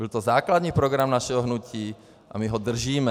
Byl to základní program našeho hnutí a my ho držíme.